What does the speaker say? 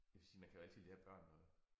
Jeg vil sige man kan jo altid lære børn noget